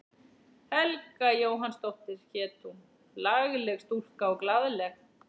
Helga Jóhannsdóttir hét hún, lagleg stúlka og glaðleg.